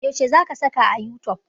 Yaushe za ka saka a youtube?